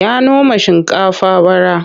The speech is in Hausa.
Ya noma shinkafa bara.